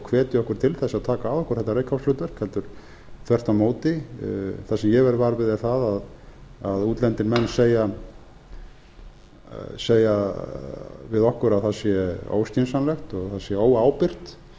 hvetja okkur til þess að taka að okkur til þess að taka að okkur þetta reykháfshlutverkið heldur þvert á móti það sem ég verð var við er það að útlendir menn segja við okkur að það sé óskynsamlegt það sé óábyrgt